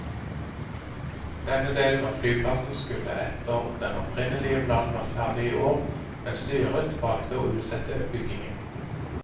Denne delen av flyplassen skulle etter den opprinnelige planen vært ferdig i år, men styret valgte å utsette byggingen.